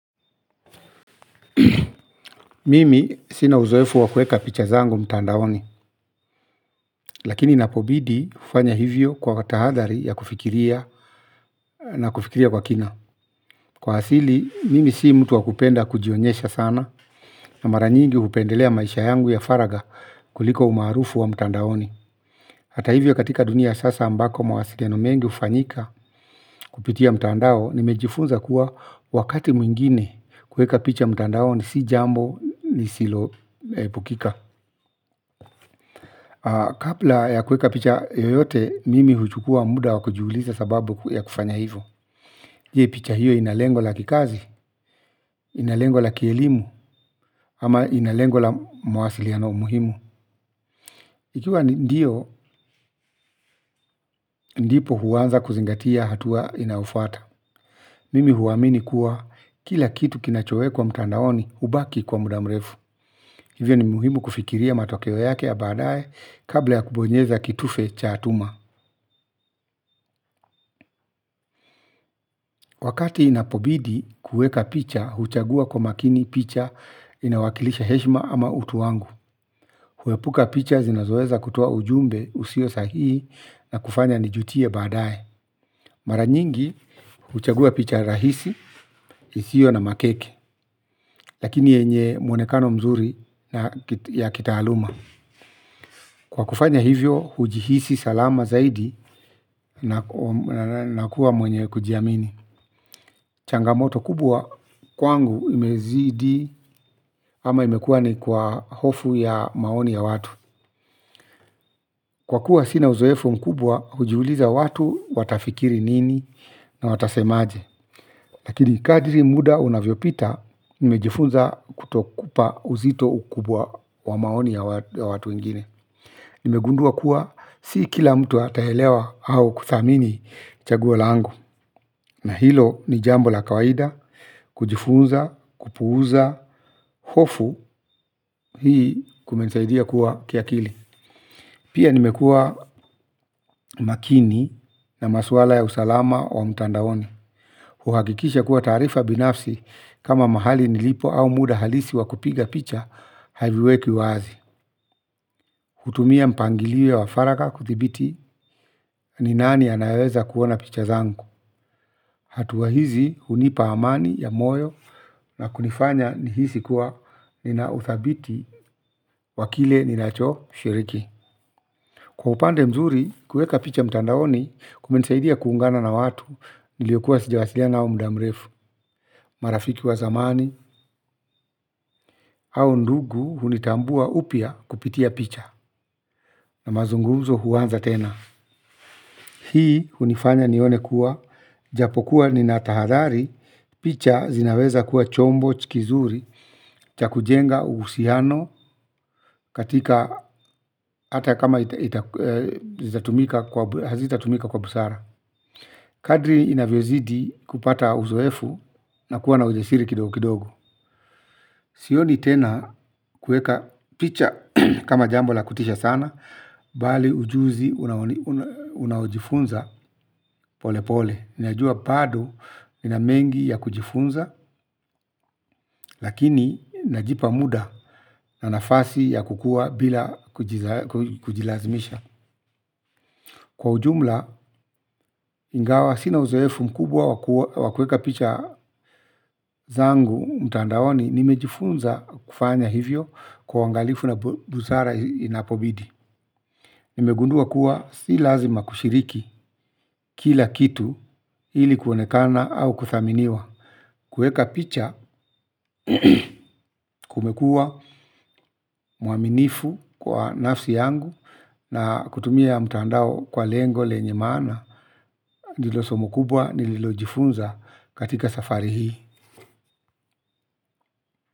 Mimi sina uzoefu wa kueka picha zangu mtandaoni. Lakini inapobidi hufanya hivyo kwa tahadhari ya kufikiria na kufikiria kwa kina. Kwa asili mimi si mtu wakupenda kujionyesha sana. Na mara nyingi hupendelea maisha yangu ya faraga kuliko umaarufu wa mtandaoni. Hata hivyo katika dunia sasa ambako mawasiliano mengi hufanyika kupitia mtandao nimejifunza kuwa wakati mwingine kuweka picha mtandaoni si jambo nisiloepukika. Kabla ya kuweka picha yoyote mimi huchukua muda wa kujiuliza sababu ya kufanya hivyo. Je picha hiyo ina lengo la kikazi, ina lengo la kielimu ama ina lengo la mawasiliano muhimu. Ikiwa ndio ndipo huanza kuzingatia hatua inaofuata. Mimi huamini kuwa kila kitu kinachowekwa mtandaoni hubaki kwa muda mrefu. Hivyo ni muhimu kufikiria matokeo yake ya baadaye kabla ya kubonyeza kitufe cha tuma. Wakati inapobidi kuweka picha, huchagua kwa makini picha inawakilisha heshima ama utu wangu. Huepuka picha zinazoweza kutoa ujumbe usio sahihi na kufanya nijutie baadaye. Mara nyingi, huchagua picha rahisi, isio na makeke, lakini yenye muonekano mzuri ya kitaaluma. Kwa kufanya hivyo, hujihisi salama zaidi na kuwa mwenye kujiamini. Changamoto kubwa kwangu imezidi ama imekua ni kwa hofu ya maoni ya watu. Kwa kuwa sina uzoefu mkubwa kujiuliza watu watafikiri nini na watasemaje. Lakini kadri muda unavyopita nimejifunza kutokupa uzito ukubwa wa maoni ya watu wengine nimegundua kuwa si kila mtu ataelewa au kuthamini chaguo langu. Na hilo ni jambo la kawaida, kujifunza, kupuuza, hofu, hii kumenisaidia kuwa kiakili. Pia nimekua makini na maswala ya usalama wa mtandaoni. Kuhakikisha kuwa taarifa binafsi kama mahali nilipo au muda halisi wa kupiga picha, haviweki wazi. Hutumia mpangilio wa faraga kuthibiti ni nani anaweza kuona picha zangu. Hatua hizi hunipa amani ya moyo na kunifanya nihisi kuwa ninauthabiti wa kile ninachoshiriki. Kwa upande mzuri kuweka picha mtandaoni kumenisaidia kuungana na watu niliokuwa sijawasiliana au muda mrefu. Marafiki wa zamani au ndugu hunitambua upya kupitia picha na mazungumzo huanza tena hii hunifanya nione kuwa japokuwa ninatahadhari picha zinaweza kuwa chombo kizuri cha kujenga uhusiano katika ata kama itaz itatumika hazitatumika kwa busara. Kadri inavyozidi kupata uzoefu na kuwa na ujasiri kidogo kidogo sioni tena kuweka picha kama jambo la kutisha sana. Bali ujuzi unaojifunza pole pole. Ninajua bado nina mengi ya kujifunza. Lakini najipa muda na nafasi ya kukua bila kujilazimisha. Kwa ujumla ingawa sina uzoefu mkubwa wa kuweka picha zangu mtandaoni nimejifunza kufanya hivyo kwa uangalifu na busara inapobidi. Nimegundua kuwa si lazima kushiriki kila kitu hili kuonekana au kuthaminiwa. Kuweka picha kumekua mwaminifu kwa nafsi yangu na kutumia mtandao kwa lengo lenye maana. Nilo somo kubwa nilojifunza katika safari hii.